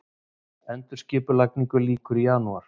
Endurskipulagningu lýkur í janúar